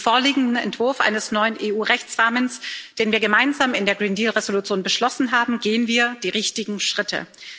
Mit dem vorliegenden Entwurf eines neuen EU Rechtsrahmens, den wir gemeinsam in der Green Deal Entschließung beschlossen haben, gehen wir die richtigen Schritte.